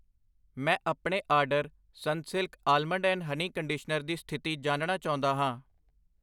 ਮੈਂ ਆਪਣੇ order Sunsilk almond and honey conditioner ਦੀ ਸਥਿਤੀ ਜਾਣਨਾ ਚਾਹੁੰਦਾ ਹਾਂ I